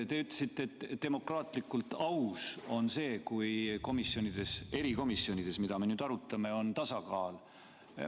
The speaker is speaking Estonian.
Te ütlesite, et demokraatlikult aus on see, kui erikomisjonides, mida me nüüd arutame, on tasakaal.